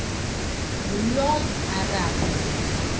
ngulomarabu